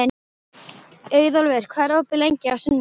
Auðólfur, hvað er opið lengi á sunnudaginn?